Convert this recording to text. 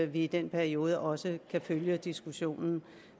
vi i den periode også kan følge diskussionen